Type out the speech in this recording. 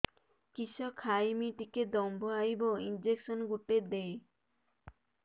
କିସ ଖାଇମି ଟିକେ ଦମ୍ଭ ଆଇବ ଇଞ୍ଜେକସନ ଗୁଟେ ଦେ